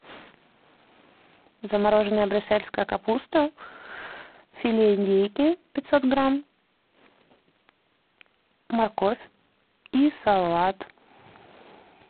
замороженная брюссельская капуста филе индейки пятьсот грамм морковь и салат